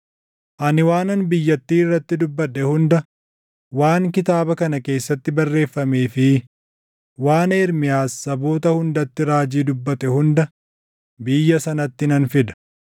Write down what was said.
“Ani waanan biyyattii irratti dubbadhe hunda, waan kitaaba kana keessatti barreeffamee fi waan Ermiyaas saboota hundatti raajii dubbate hunda biyya sanatti nan fida.